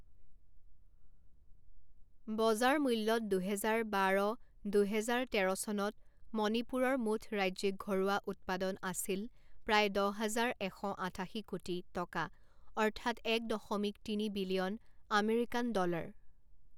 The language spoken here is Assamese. বজাৰ মূল্যত দুহেজাৰ বাৰ দুহেজাৰ তেৰ চনত মণিপুৰৰ মুঠ ৰাজ্যিক ঘৰুৱা উৎপাদন আছিল প্ৰায় দহ হাজাৰ এশ আঠাশী কোটি টকা অৰ্থাৎ এক দশমিক তিনি বিলিয়ন আমেৰিকান ডলাৰ।